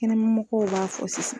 Kɛnɛma mɔgɔw b'a fɔ sisan.